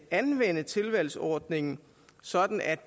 anvende tilvalgsordningen sådan at